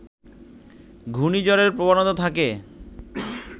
ঘূর্ণিঝড়ের প্রবণতা থাকে